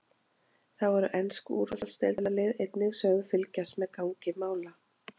Þá eru ensk úrvalsdeildarlið einnig sögð fylgjast með gangi mála.